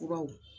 Furaw